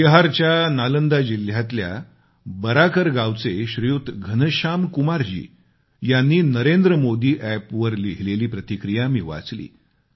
बिहारच्या नालंदा जिल्ह्यातल्या बराकर गावचे श्रीयुत धनश्याम कुमारजी यांनी नरेंद्र मोदी एप वर लिहिलेली प्रतिक्रिया मी वाचली